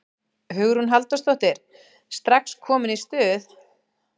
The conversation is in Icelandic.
Hugrún Halldórsdóttir: Strax komin í stuð?